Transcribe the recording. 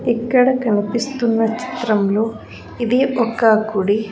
ఇక్కడ కనిపిస్తున్న చిత్రంలో ఇది ఒక గుడి.